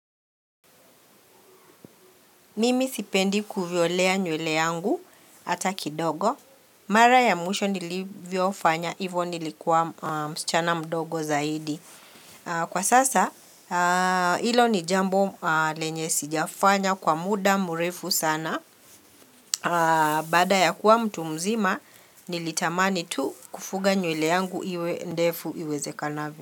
Mimi sipendi kuvyolea nywele yangu hata kidogo. Mara ya mwisho nilivyofanya ivo nilikuwa msichana mdogo zaidi. Kwa sasa, hilo ni jambo lenye sijafanya kwa muda mrefu sana. Baada ya kuwa mtu mzima, nilitamani tu kufuga nywele yangu iwe ndefu iwezekanavyo.